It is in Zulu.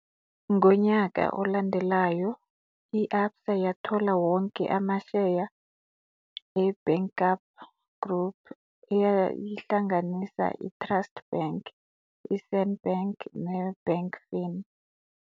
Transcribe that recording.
Ngonyaka olandelayo, i-Absa yathola wonke amasheya eBankarp Group eyayihlanganisa iTrustbank, iSenbank neBankfin.